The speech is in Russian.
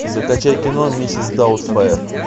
закачай кино миссис даутфайр